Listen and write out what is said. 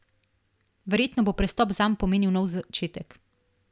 Verjetno bo prestop zanj pomenil nov začetek.